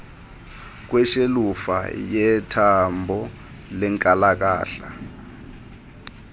kweshelufa yethambo lenkalakahla